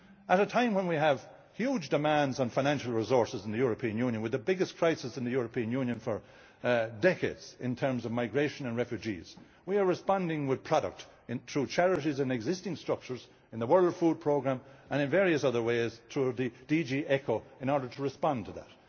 At a time when we have huge demands on financial resources in the European Union, with the biggest crisis in the European Union for decades in terms of migration and refugees, we are responding with product, through charities and existing structures in the World Food Programme, and in various other ways through DG ECHO in order to respond to